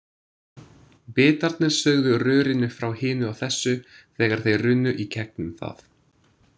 Bitarnir sögðu rörinu frá hinu og þessu, þegar þeir runnu í gegnum það.